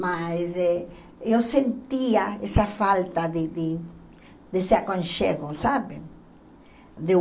Mas eh eu sentia essa falta de de desse aconchego, sabe? De